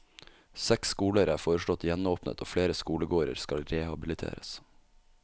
Seks skoler er foreslått gjenåpnet og flere skolegårder skal rehabiliteres.